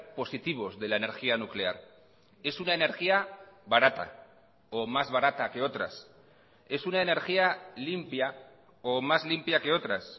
positivos de la energía nuclear es una energía barata o más barata que otras es una energía limpia o más limpia que otras